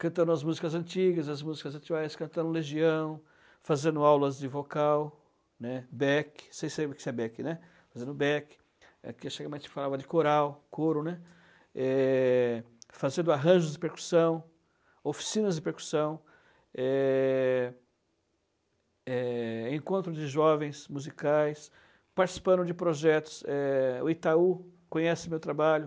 cantando as músicas antigas, as músicas atuais, cantando Legião, fazendo aulas de vocal, né, Beck, vocês sabem o que é Beck, né, fazendo Beck, aqui a antigamente fala de coral, coro, né, eh, fazendo arranjos de percussão, oficinas de percussão, eh, eh, encontro de jovens musicais, participando de projetos, eh, o Itaú conhece meu trabalho,